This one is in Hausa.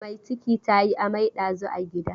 Mai ciki ta yi amai ɗazun a gida.